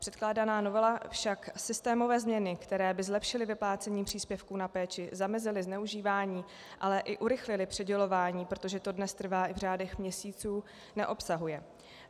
Předkládaná novela však systémové změny, které by zlepšily vyplácení příspěvků na péči, zamezily zneužívání, ale i urychlily přidělování, protože to dnes trvá i v řádech měsíců, neobsahuje.